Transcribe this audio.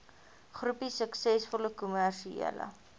groepie suksesvolle kommersiële